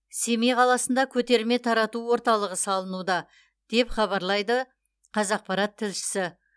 семей қаласында көтерме тарату орталығы салынуда деп хабарлайды қазақпарат тілшісі